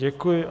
Děkuji.